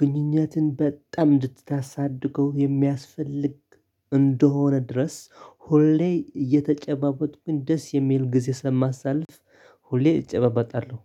ግንኙነትን በጣም እንድታሳድገው የሚያስፈልግ እንደሆነ ድረስ ሁሌ እየተጨባበጥኩኝ ግን ደስ የሚል ጊዜ ስለማሳልፍ። ሁሌ እጨባበጣለሁ